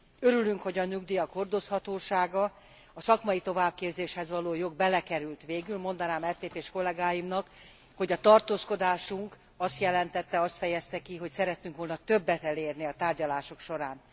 Örülünk, hogy a nyugdíjak hordozhatósága, a szakmai továbbképzéshez való jog belekerült végül mondanám EPP s kollégáimnak, hogy a tartózkodásunk azt jelentette, azt fejezte ki, hogy szerettünk volna többet elérni a tárgyalások során.